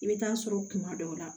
I bɛ taa sɔrɔ kuma dɔw la